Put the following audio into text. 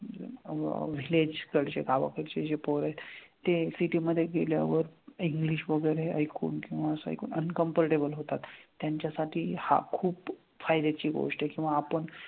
अह village कडचे गावाकडचे जे पोरं आहेत ते city मधे गेल्यावर इंग्लिश वगैरे ऐकून किंवा असं ऐकून uncomfortable होतात. त्यांच्यासाठी हा खूप फायद्याची गोष्ट आहे किंवा आपण,